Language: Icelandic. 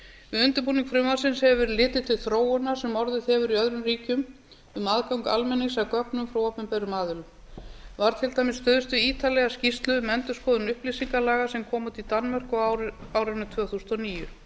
við undirbúning frumvarpsins hefur verið litið til þróunar sem orðið hefur í öðrum ríkjum um aðgang almennings að gögnum frá opinberum aðilum var til dæmis stuðst við ítarlega skýrslu um endurskoðun upplýsingalaga sem komu út í danmörku á árinu tvö þúsund og níu